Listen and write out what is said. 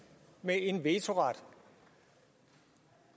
med en vetoret